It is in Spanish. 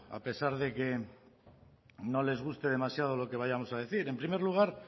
a pesar de que no les guste demasiado lo que vayamos a decir en primer lugar